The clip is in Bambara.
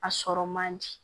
A sɔrɔ man di